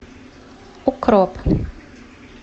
укроп